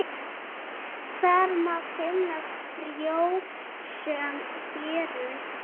Þar má finna frjósöm héruð.